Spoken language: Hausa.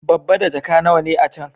Babba da jaka nawa ne a can?